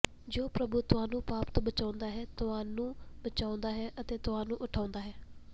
ਜੋ ਪ੍ਰਭੂ ਤੁਹਾਨੂੰ ਪਾਪ ਤੋਂ ਬਚਾਉਂਦਾ ਹੈ ਤੁਹਾਨੂੰ ਬਚਾਉਂਦਾ ਹੈ ਅਤੇ ਤੁਹਾਨੂੰ ਉਠਾਉਂਦਾ ਹੈ